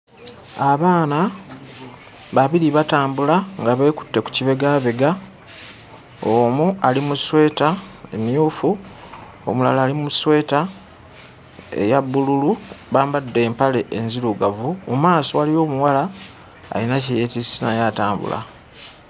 Abaana babiri batambula nga beekutte ku kibegaabega. Omu ali mu ssweta emmyufu, omulala ali mu ssweta eya bbululu, bambadde empale enzirugavu. Mu maaso waliyo omuwala alina kye yeetisse naye atambula.